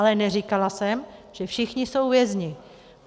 Ale neříkala jsem, že všichni jsou vězni.